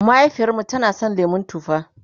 mahaifiyarmu tana San lemun tufa